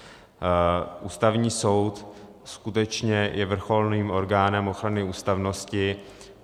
Ústavní soud skutečně je vrcholným orgánem ochrany ústavnosti.